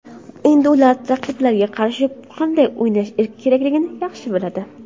Endi ular raqiblarga qarshi qanday o‘ynash kerakligini yaxshi biladi.